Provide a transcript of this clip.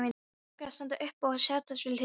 Mig langar að standa upp og setjast við hlið þína.